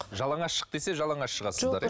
жалаңаш шық десе жалаңаш шығасыздар иә